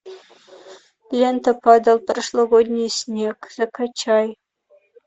лента падал прошлогодний снег закачай